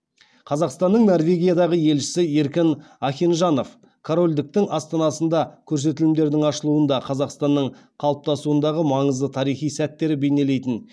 қазақстанның норвегиядағы елшісі еркін ахинжанов корольдіктің астанасында көрсетілімдердің ашылуында қазақстанның қалыптасуындағы маңызды тарихи сәттері бейнелейтін